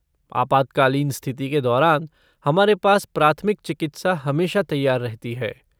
आपात्कालीन स्थिति के दौरान, हमारे पास प्राथमिक चिकित्सा हमेशा तैयार रहती है।